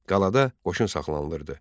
Qalada qoşun saxlanılırdı.